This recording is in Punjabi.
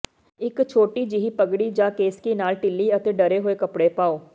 ਇਕ ਛੋਟੀ ਜਿਹੀ ਪਗੜੀ ਜਾਂ ਕੈਸਕੀ ਨਾਲ ਢਿੱਲੀ ਅਤੇ ਡਰੇ ਹੋਏ ਕੱਪੜੇ ਪਾਓ